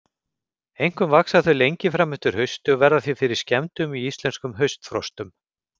Einkum vaxa þau lengi fram eftir hausti og verða því fyrir skemmdum í íslenskum haustfrostum.